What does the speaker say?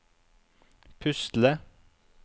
pusle